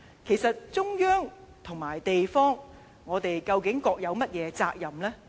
其實中央與地方究竟各有甚麼責任呢？